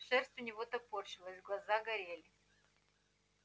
шерсть у него топорщилась глаза горели